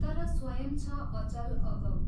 तर स्वयं छ अचल अगम।